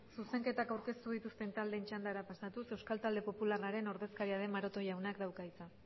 zuzenketak aurkeztu dituzten taldeen txandara pasatuz euskal talde popularraren ordezkaria den maroto jaunak dauka hitza